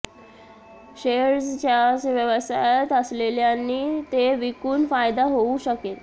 shares च्या व्यवसायात असलेल्यांनी ते विकून फायदा होऊ शकेल